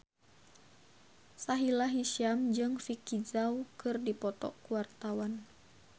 Sahila Hisyam jeung Vicki Zao keur dipoto ku wartawan